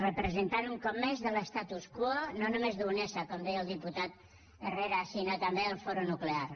representant un cop més de l’statu quo no només d’unesa com deia el diputat herrera sinó també del foro nuclear